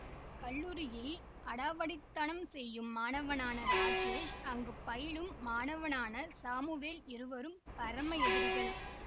கல்லூரியில் அடாவடி தனம் செய்யும் மாணவனான ராஜேஷ் அங்கு பயிலும் மாணவனான சாமுவேல் இருவரும் பரம எதிரிகள்